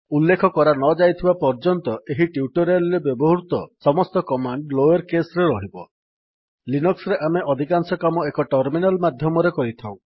ଉଲ୍ଲେଖ କରାନଯାଇଥିବା ପର୍ଯ୍ୟନ୍ତ ଏହି ଟ୍ୟୁଟୋରିଆଲ୍ ରେ ବ୍ୟବହୃତ ସମସ୍ତ କମାଣ୍ଡ୍ ଲୋୟର୍ କେସ୍ ରେ ରହିବ ଲିନକ୍ସ୍ ରେ ଆମେ ଅଧିକାଂଶ କାମ ଏକ ଟର୍ମିନାଲ୍ ମାଧ୍ୟମରେ କରିଥାଉ